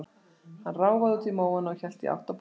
Hann ráfaði út í móana og hélt í átt að bústaðnum.